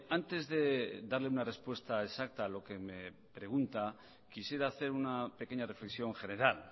antes de darle una respuesta exacta a lo que me pregunta quisiera hacer una pequeña reflexión general